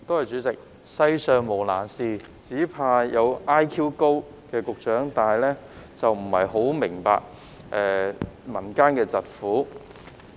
主席，世上無難事，只怕有局長 IQ 高但卻不太明白民間疾苦。